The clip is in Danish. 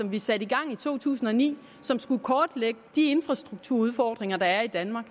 vi satte i gang i to tusind og ni som skulle kortlægge de infrastrukturudfordringer der er i danmark